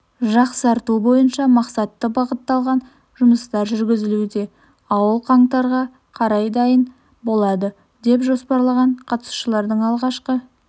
жақсарту бойынша мақсатты бағытталған жұмыстар жүргізілуде ауыл қаңтарға қарай дайын болады деп жоспарланған қатысушылардың алғашқы